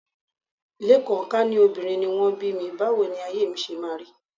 Lékan, ká ní obìnrin ni wọ́n bí mi, báwo ni ayé mi ṣe máa rí